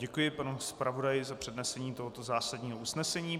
Děkuji panu zpravodaji za přednesení tohoto zásadního usnesení.